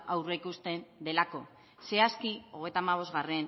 aurreikusten delako zehazki hogeita hamabostgarrena